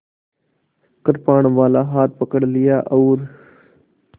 कृपाणवाला हाथ पकड़ लिया और